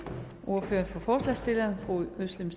ordføreren for forslagsstillerne fru özlem